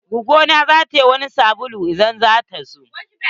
Gwaggo na zata yi wani sabulu idan zata zo.